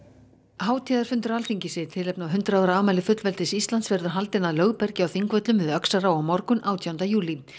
hátíðarfundur Alþingis í tilefni af hundrað ára afmæli fullveldis Íslands verður haldinn að Lögbergi á Þingvöllum við Öxará á morgun átjánda júlí